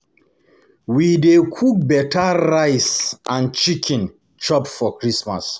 We dey cook beta rice and rice and chicken chop for Christmas.